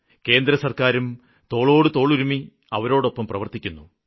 കേന്ദ്രസര്ക്കാരും തോളോടുതോളുരുമ്മി അവരോടൊപ്പം പ്രവര്ത്തിക്കുന്നു